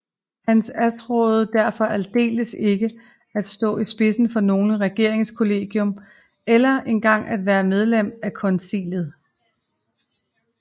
Han attråede derfor aldeles ikke at stå i spidsen for noget regeringskollegium eller engang at være medlem af Konseillet